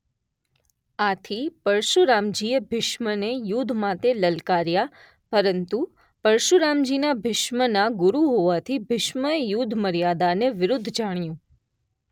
આથી પરશુરામજી એ ભીષ્મને યુદ્ધ માટે લલકાર્યા પરંતુ પરશુરામજીના ભીષ્મના ગુરુ હોવાથી ભીષ્મએ યુદ્ધ મર્યાદાને વિરુદ્ધ જાણ્યુ.